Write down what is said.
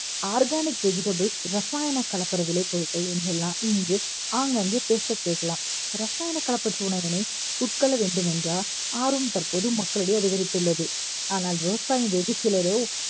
organic vegetables ரசாயன கலப்பட விலைப் பொருட்கள் என்றெல்லாம் இங்கு ஆங்காங்கே பேச கேட்கலாம். ரசாயனம் கலப்பற்ற உணவினை உட்கொள்ள வேண்டும் என்ற ஆர்வம் தற்போது மக்களிடையே அதிகரித்துள்ளது. ஆனால் விவசாயம் வெகு சிலரோ